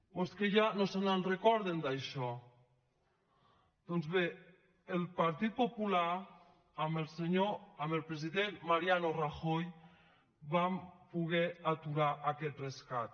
o és que ja no se’n recorden d’això doncs bé el partit popular amb el president mariano rajoy vam poder aturar aquest rescat